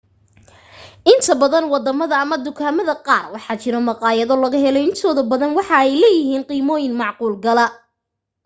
inta badan wadamada ama dukaamada qaar waxaa jiro maqaayado laga helo intooda badana waxa ay leeyihiin qiimoyin macquul gala